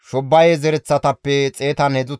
Lebana, Hagabe, Shammilaye,